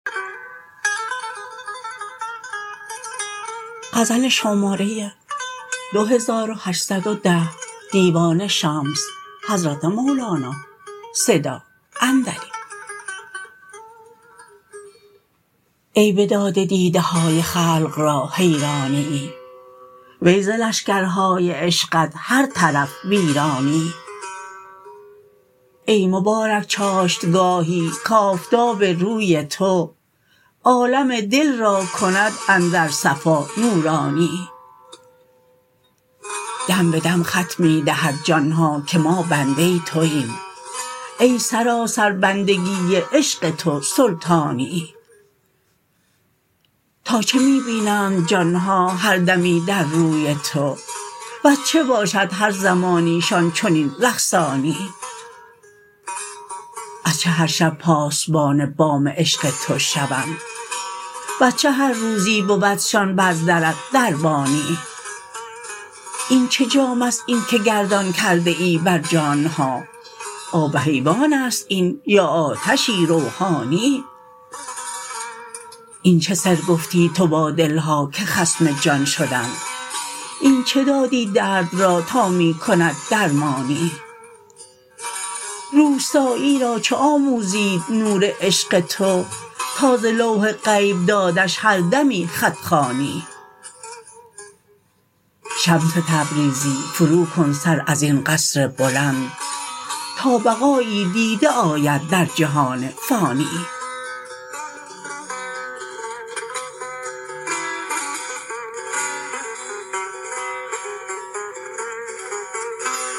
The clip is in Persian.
ای بداده دیده های خلق را حیرانیی وی ز لشکرهای عشقت هر طرف ویرانیی ای مبارک چاشتگاهی کآفتاب روی تو عالم دل را کند اندر صفا نورانیی دم به دم خط می دهد جان ها که ما بنده توایم ای سراسر بندگی عشق تو سلطانیی تا چه می بینند جان ها هر دمی در روی تو وز چه باشد هر زمانیشان چنین رقصانیی از چه هر شب پاسبان بام عشق تو شوند وز چه هر روزی بودشان بر درت دربانیی این چه جام است این که گردان کرده ای بر جان ها آب حیوان است این یا آتشی روحانیی این چه سر گفتی تو با دل ها که خصم جان شدند این چه دادی درد را تا می کند درمانیی روستایی را چه آموزید نور عشق تو تا ز لوح غیب دادش هر دمی خط خوانیی شمس تبریزی فروکن سر از این قصر بلند تا بقایی دیده آید در جهان فانیی